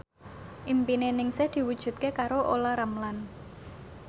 impine Ningsih diwujudke karo Olla Ramlan